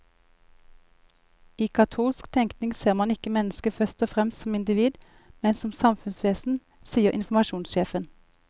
I katolsk tenkning ser man ikke mennesket først og fremst som individ, men som samfunnsvesen, sier informasjonssjefen.